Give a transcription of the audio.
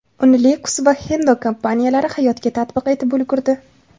Uni Lexus va Hendo kompaniyalari hayotga tatbiq etib ulgurdi.